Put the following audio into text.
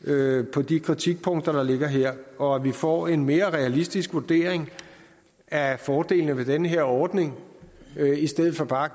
på de kritikpunkter der ligger her og at vi får en mere realistisk vurdering af fordelene ved den her ordning i stedet for bare